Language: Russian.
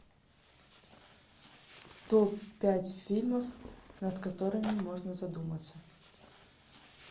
топ пять фильмов над которыми можно задуматься